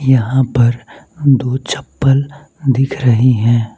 यहां पर दो चप्पल दिख रहे हैं।